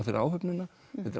fyrir áhöfnina